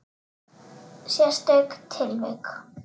Sérstök tilvik.